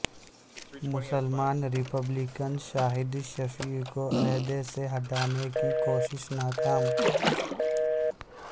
مسلمان ریپبلکن شاہد شفیع کو عہدے سے ہٹانے کی کوشش ناکام